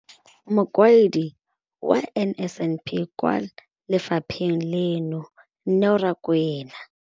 Mokaedi wa NSNP kwa lefapheng leno, Neo Rakwena.